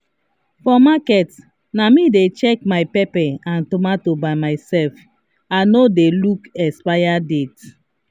for market na me dey check my pepper and tomato by myself i no dey look expiry date.